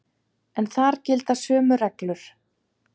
En þar gilda sömu reglur.